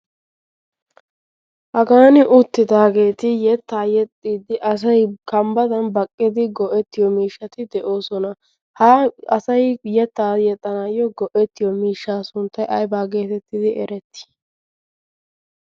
hagaani uttidaageeti yettaa yexxiddi asai kambbadan baqqidi go"ettiyo miishshati de'oosona. ha asay yettaa yexxanaayyo go"ettiyo miishshaa sunttay aybaa geetettidi erettii?